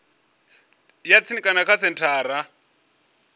ya tsini kana kha senthara